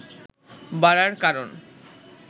বাড়ার কারণ